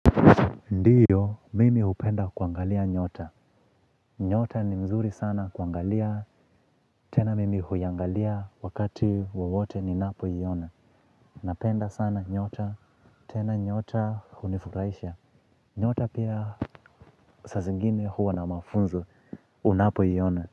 Ndiyo, mimi hupenda kuangalia nyota. Nyota ni mzuri sana kuangalia, tena mimi huiangalia wakati wowote ninapoiona. Napenda sana nyota, tena nyota hunifurahisha. Nyota pia sa zingine huwa na mafunzu, unapoiona.